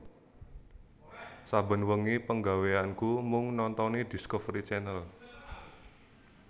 Saben wengi penggaweanku mung nontoni Discovery Channel